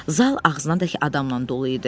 Zal ağzınadək adamla dolu idi.